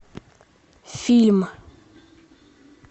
фильм